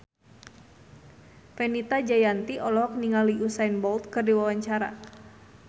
Fenita Jayanti olohok ningali Usain Bolt keur diwawancara